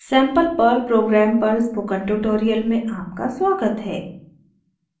sample perl program पर spoken tutorial में आपका स्वागत है